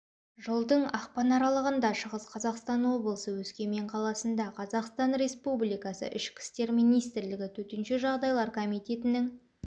жылдың ақпан аралығында шығыс қазақстан облысы өскемен қаласында қазақстан республикасы ішкі істер министрлігі төтенше жағдайлар комитетінің